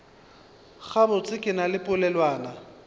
gabotse ke na le polelwana